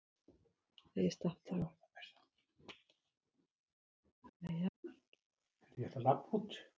Starfið veitti honum nægan tíma og tekjur til að sinna stjörnuathugunum og smíða stærri sjónauka.